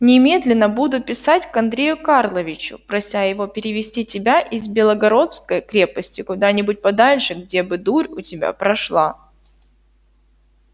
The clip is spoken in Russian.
немедленно буду писать к андрею карловичу прося его перевести тебя из белогородской крепости куда-нибудь подальше где бы дурь у тебя прошла